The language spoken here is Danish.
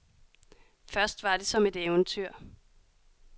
Først var det som et eventyr.